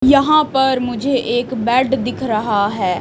यहां पर मुझे एक बेड दिख रहा है।